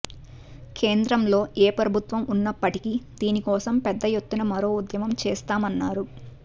కేంద్రంలో ఏ ప్రభుత్వం ఉన్నప్పటికీ దీని కోసం పెద్ద ఎత్తున మరో ఉద్యమం చేస్తామన్నారు